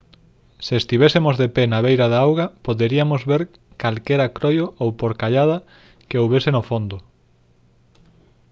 se estivésemos de pé na beira da auga poderiamos ver calquera croio ou porcallada que houbese no fondo